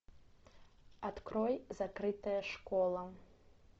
открой закрытая школа